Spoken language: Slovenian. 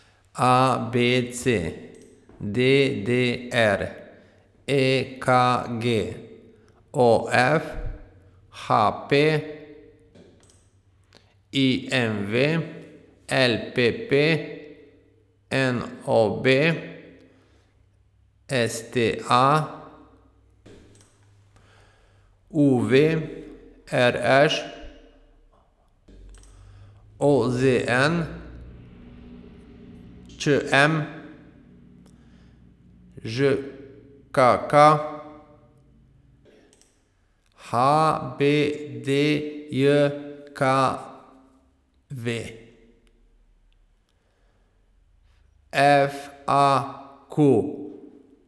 A B C; D D R; E K G; O F; H P; I M V; L P P; N O B; S T A; U V; R Š; O Z N; Č M; Ž K K; H B D J K V; F A Q.